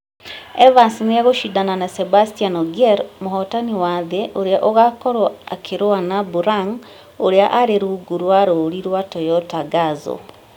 Evans nĩ egũcindana na Sebastien Ogier mũhotani wa thĩ ũrĩa ũgaakorwo akĩrũa na burang ũrĩa arĩ rungu rwa rũũri rwa Toyota Gazoo.